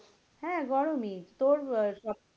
হ্যাঁ গরমই তোর আহ